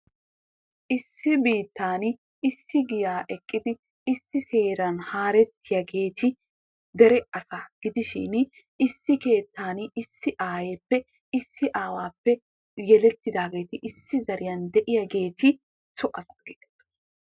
Issi biittan Issi giyaa eqqidi issi heeran haarettiyageeti dere asaa gidishin issi keettan Issi aayeeppe issi aawaappe yelettidaageeti issi zariyan de'iyageeti so asaa geetettoosona.